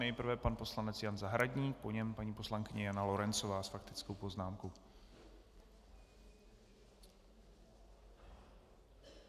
Nejprve pan poslanec Jan Zahradník, po něm paní poslankyně Jana Lorencová s faktickou poznámkou.